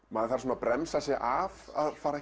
maður þarf að bremsa sig af að fara